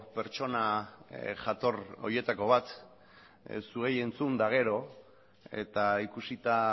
pertsona jator horietako bat zuei entzun eta gero eta ikusita